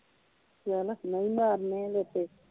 ਚੱਲ ਮੈ ਵੀ ਮਾਰਨੇ ਆ ਲੇਟੇ।